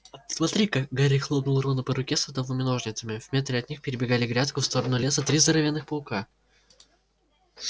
смотри-ка гарри хлопнул рона по руке садовыми ножницами в метре от них перебегали грядку в сторону леса три здоровенных паука